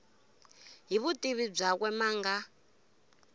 hi vutivi byakwe ma nga